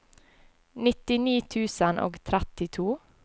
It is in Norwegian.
nittini tusen og trettito